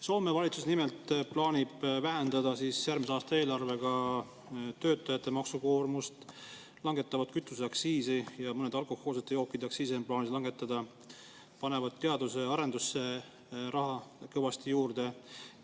Soome valitsus plaanib nimelt järgmise aasta eelarvega vähendada töötajate maksukoormust, nad langetavad kütuseaktsiisi, on plaanis langetada mõnede alkohoolsete jookide aktsiisi ning teadus- ja arendusraha antakse kõvasti juurde.